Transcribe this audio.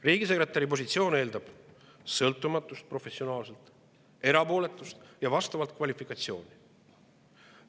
Riigisekretäri positsioon eeldab professionaalset sõltumatust, erapooletust ja vastavat kvalifikatsiooni.